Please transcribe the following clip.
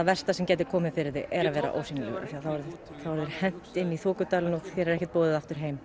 versta sem getur komið fyrir þig er að vera ósýnilegur því þá er þér hent inn í þokudalinn og þér er ekkert boðið aftur heim